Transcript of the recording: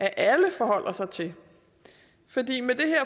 alle forholder sig til